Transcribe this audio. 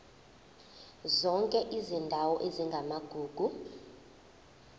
zonke izindawo ezingamagugu